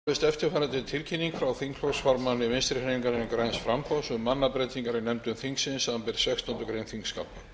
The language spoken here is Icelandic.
forseta hefur borist eftirfarandi tilkynning frá þingflokksformanni vinstri hreyfingarinnar græns framboðs um mannabreytingar í nefndum þingsins samanber sextándu grein þingskapa